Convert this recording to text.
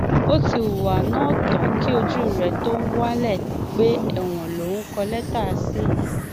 ó ti hùwà náà tán kí ojú rẹ tóó wálé pé ẹwọn lòun ń kọ lẹtà sí yìí